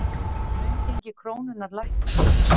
Raungengi krónunnar lækkar